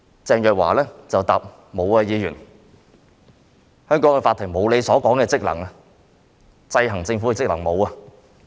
鄭若驊只是回答說："許議員，香港法庭沒有你所說的職能，沒有制衡政府的職能。